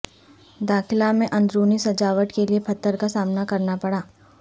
داخلہ میں اندرونی سجاوٹ کے لئے پتھر کا سامنا کرنا پڑا